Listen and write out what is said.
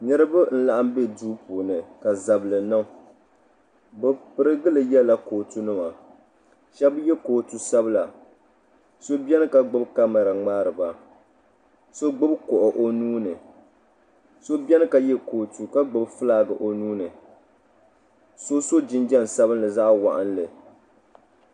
Niriba n laɣim be duu puuni ka zabli niŋ bɛ pirigili yela kootu nima sheba ye kootu sabla so biɛni ka gbibi kamara ŋmaari ba so gbibi kuɣu o nuuni so biɛni ka ye kootu ka gbibi filaaki o nuuni so so jinjiɛm sabinli zaɣa waɣinli.